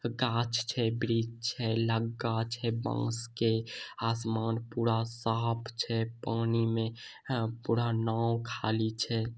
गाछ छै वृक्ष छै लगगा छै बांस के आसमान पूरा साफ छै। पानी में अ पूरा नाव खाली छै।